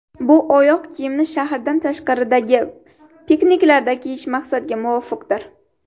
Bu oyoq kiyimni shahardan tashqaridagi pikniklarda kiyish maqsadga muvofiqdir.